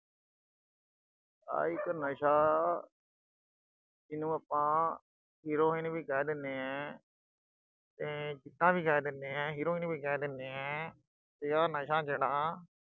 ਆ ਇੱਕ ਨਸ਼ਾ ਅਹ ਜੀਹਨੂੰ ਆਪਾਂ, heroin ਵੀ ਕਹਿ ਦਿਨੇ ਆਂ। ਅਹ ਚਿੱਟਾ ਵੀ ਕਹਿ ਦਿਨੇ ਆਂ heroin ਵੀ ਕਹਿ ਦਿਨੇ ਆਂ, ਤੇ ਆ ਨਸ਼ਾ ਜਿਹੜਾ